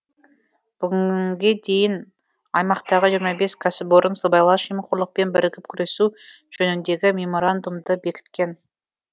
бүгінге дейін аймақтағы жиырма бес кәсіпорын сыбайлас жемқорлықпен бірігіп күресу жөніндегі меморандумды бекіткен